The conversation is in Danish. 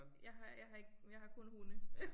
Jeg har jeg har ikke jeg har kun hunde